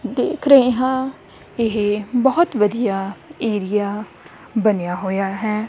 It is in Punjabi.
ਦੇਖ ਰਹੇ ਹਾਂ ਇਹ ਬਹੁਤ ਵਧੀਆ ਏਰੀਆ ਬਣਿਆ ਹੋਇਆ ਹੈ।